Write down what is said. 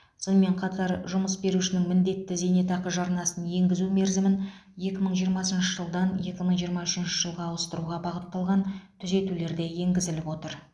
сонымен қатар жұмыс берушінің міндетті зейнетақы жарнасын енгізу мерзімін екі мың жиырмасыншы жылдан екі мың жиырма үшінші жылға ауыстыруға бағытталған түзетулер де енгізіліп отыр